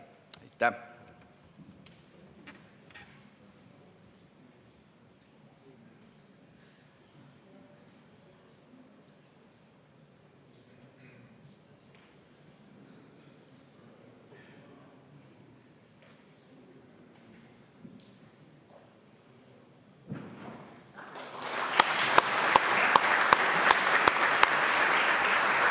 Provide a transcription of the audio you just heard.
Aitäh!